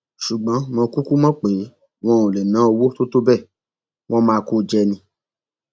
ṣùgbọn mo kúkú mọ pé wọn ò lè ná owó tó tó bẹẹ wọn máa kó o jẹ ni